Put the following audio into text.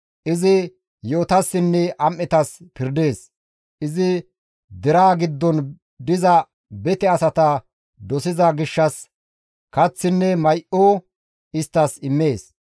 Izi yi7otassinne am7etas pirdees; izi deraa giddon diza bete asata dosiza gishshas kaththinne may7o isttas immees.